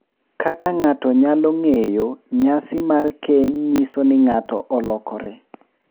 Kaka ng’ato nyalo ng’eyo, nyasi mar keny nyiso ni ng’ato olokore